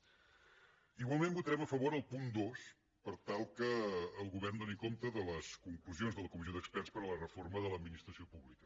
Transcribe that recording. igualment votarem a favor del punt dos per tal que el govern doni compte de les conclusions de la comissió d’experts per a la reforma de l’administració pública